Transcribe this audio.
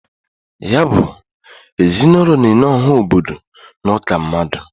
Ya bụ, ezinụlọ na-enye ọha obodo n' ụka mmadụ.